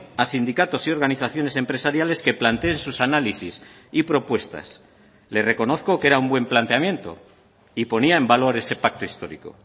a sindicatos y organizaciones empresariales que planteen sus análisis y propuestas le reconozco que era un buen planteamiento y ponía en valor ese pacto histórico